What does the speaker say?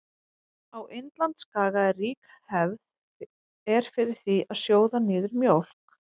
Á Indlandsskaga er rík hefð er fyrir því að sjóða niður mjólk.